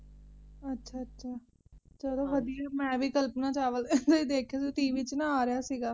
ਅੱਛਾ ਚਲੋ ਵਧੀਆ ਏ ਮੈ ਵੀ ਕਲਪਨਾ ਚਾਵਲਾ ਦਾ ਹੀ ਦੇਖਿਆ ਸੀ tv ਚ ਨਾ ਆ ਰਿਹਾ ਸੀਗਾ